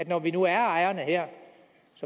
når vi nu er ejerne